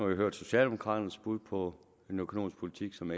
vi hørt socialdemokraternes bud på en økonomisk politik som